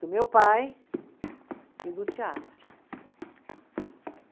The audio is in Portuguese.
Do meu pai e do teatro.